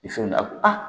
Ni fɛn a ko a